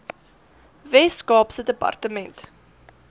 wes kaapse departement